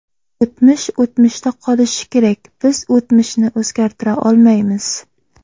O‘tmish o‘tmishda qolishi kerak, biz o‘tmishni o‘zgartira olmaymiz.